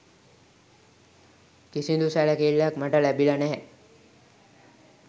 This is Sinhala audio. කිසිදු සැලකිල්ලක් මට ලැබිලා නැහැ